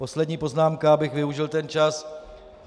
Poslední poznámka, abych využil ten čas.